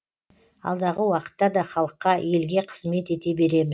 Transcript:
алдағы уақытта да халыққа елге қызмет ете береміз